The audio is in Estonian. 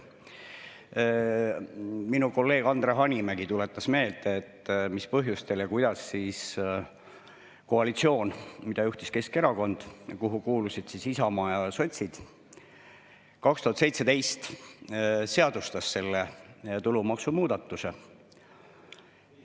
Minu kolleeg Andre Hanimägi tuletas meelde, mis põhjustel ja kuidas koalitsioon, mida juhtis Keskerakond ja kuhu kuulusid Isamaa ja sotsid, 2017 selle tulumaksumuudatuse seadustas.